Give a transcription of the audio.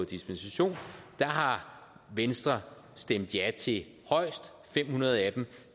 dispensation og der har venstre stemt ja til højst fem hundrede af dem